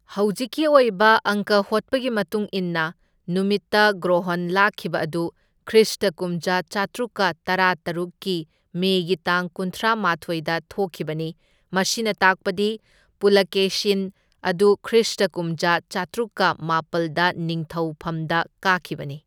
ꯍꯧꯖꯤꯛꯀꯤ ꯑꯣꯏꯕ ꯑꯪꯀ ꯍꯣꯠꯄꯒꯤ ꯃꯇꯨꯡ ꯏꯟꯅ, ꯅꯨꯃꯤꯠꯇ ꯒ꯭ꯔꯣꯍꯣꯟ ꯂꯥꯛꯈꯤꯕ ꯑꯗꯨ ꯈ꯭ꯔꯤꯁꯇ ꯀꯨꯝꯖꯥ ꯆꯥꯇ꯭ꯔꯨꯛꯀ ꯇꯔꯥꯇꯔꯨꯛ ꯀꯤ ꯃꯦ ꯒꯤ ꯇꯥꯡ ꯀꯨꯟꯒꯃꯥꯊꯣꯢꯗ ꯊꯣꯛꯈꯤꯕꯅꯤ, ꯃꯁꯤꯅ ꯇꯥꯛꯄꯗꯤ ꯄꯨꯂꯥꯀꯦꯁꯤꯟ ꯑꯗꯨ ꯈ꯭ꯔꯤꯁꯇ ꯀꯨꯝꯖꯥ ꯆꯥꯇ꯭ꯔꯨꯛꯀ ꯃꯥꯄꯜꯗ ꯅꯤꯡꯊꯧ ꯐꯝꯗ ꯀꯥꯈꯤꯕꯅꯤ꯫